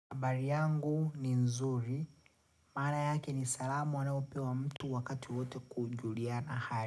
Habari yangu ni nzuri, maana yake ni salamu anaopewa mtu wakati wowote kujuliana hali.